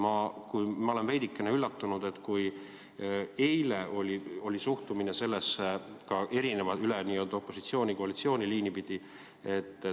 Ma olen veidikene üllatunud, et eile oli suhtumine sellesse opositsiooni ja koalitsiooni liini pidi erinev.